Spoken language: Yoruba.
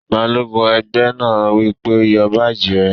Balógun ẹgbẹ́ náà wí pé, "Yọ báàjì rẹ̀!"